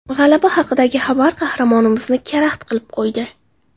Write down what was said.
G‘alaba haqidagi xabar qahramonimizni karaxt qilib qo‘ydi.